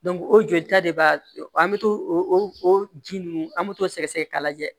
o jolita de b'a an bɛ to o ji ninnu an bɛ t'o sɛgɛsɛgɛ k'a lajɛ